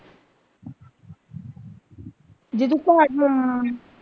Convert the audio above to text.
ਜੇ ਤੂੰ ਘਰ ਹਾਂ।